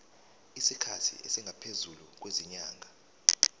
isikhathi esingaphezulu kwezinyanga